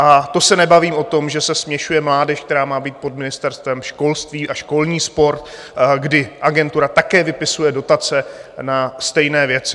A to se nebavím o tom, že se směšuje mládež, která má být pod Ministerstvem školství, a školní sport, kdy agentura také vypisuje dotace na stejné věci.